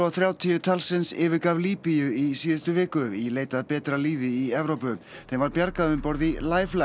þrjátíu talsins yfirgaf Líbíu í síðustu viku í leit að betra lífi í Evrópu þeim var bjargað um borð í